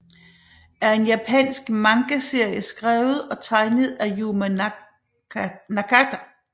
er en japansk mangaserie skrevet og tegnet af Yumi Nakata